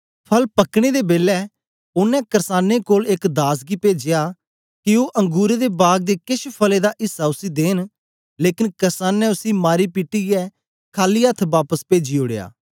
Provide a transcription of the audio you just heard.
फल पक्क्नें दे बेलै ओनें कर्सानें कोल एक दास गी पेजया के ओ अंगुरें दे बागे दे केछ फलें दा ऐसा उसी देंन लेकन कर्सानें उसी मारीपिटीयै खाली अथ्थ बापस पेजी ओड़या